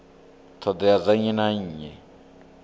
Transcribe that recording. ṱhoḓea dza nnyi na nnyi